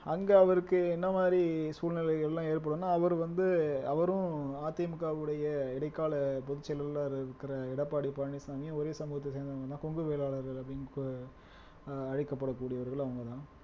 அங்கே அவருக்கு என்ன மாதிரி சூழ்நிலைகள் எல்லாம் ஏற்படும்ன்னா அவரு வந்து, அவரும் அதிமுகவுடைய இடைக்கால பொதுச் செயலாளர இருக்குற எடப்பாடி பழனிச்சாமி ஒரே சமூகத்தை சேர்ந்தவங்கதான் கொங்கு வேளாளர்கள் அப்படின்னு கு ஆஹ் அழைக்கப்படக்கூடியவர்கள் அவங்கதான்